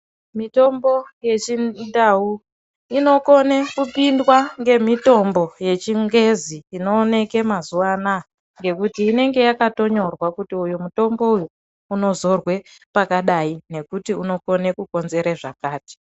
Mitombo yechindau inokone kupindwa ngamitombo yechingezi inooneke mazuvana ngekutii inenge yakatonyorwa kuti uyu mutombo uyu unozorwa pakadai ngekuti inokone kukonzera zvakati.